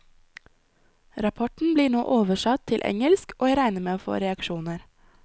Rapporten blir nå oversatt til engelsk, og jeg regner med å få reaksjoner.